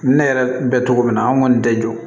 Ne yɛrɛ bɛ cogo min na an kɔni tɛ jɔ